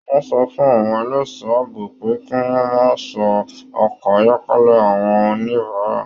Wọn sọ fún àwọn ẹlẹṣọ ààbò pé kí wọn máa ṣọ ọkọ ayọkẹlẹ àwọn oníbárà.